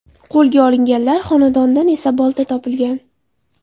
Qo‘lga olinganlar xonadonidan esa bolta topilgan.